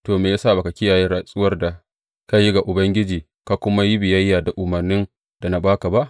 To, me ya sa ba ka kiyaye rantsuwar da ka yi ga Ubangiji, ka kuma yi biyayya da umarnin da na ba ka ba?